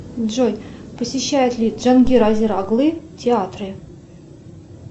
джой посещает ли джангир азер оглы театры